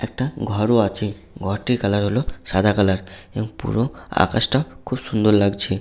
একটা ঘরও আছে ঘরটির কালার হলো সাদা কালার এবং পুরো আকাশটা খুব সুন্দর লাগছে।